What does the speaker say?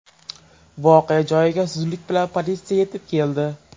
Voqea joyiga zudlik bilan politsiya yetib keldi.